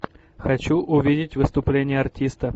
хочу увидеть выступление артиста